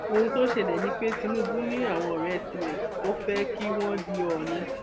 ohun tó ṣẹlẹ ni pé tinubu ni àwọn ọrẹ tirẹ tó fẹ kí wọn di òónì